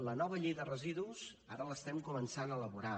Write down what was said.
la nova llei de residus ara l’estem començant a elaborar